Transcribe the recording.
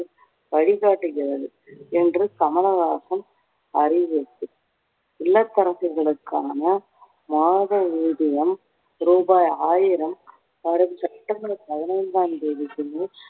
வழிகாட்டுகிறது என்று கமலஹாசன் அறிவுறுத்தல். இல்லத்தரசிகளுக்கான மாத ஊதியம் ரூபாய் ஆயிரம் வரும் செப்டம்பர் பதினைந்தாம் தேதிக்குள்ளே